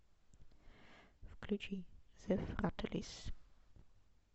включи зе фрателис